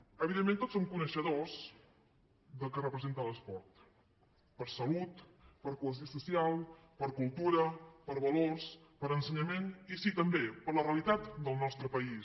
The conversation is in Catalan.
evidentment tots som coneixedors del que representa l’esport per salut per cohesió social per cultura per valors per ensenyament i sí també per la realitat del nostre país